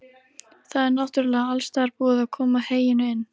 Það er náttúrlega alstaðar búið að koma heyinu inn?